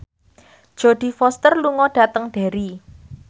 Jodie Foster lunga dhateng Derry